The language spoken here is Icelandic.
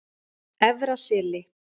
Efra Seli